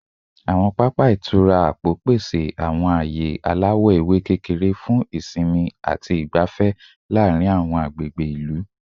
Awọn papa itura apo pese awọn aaye alawọ ewe kekere fun isinmi ati isinmi laarin awọn agbegbe ilu